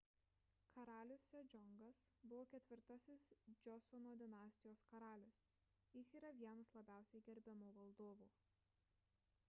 karalius sedžiongas buvo ketvirtasis džiosono dinastijos karalius jis yra vienas labiausiai gerbiamų valdovų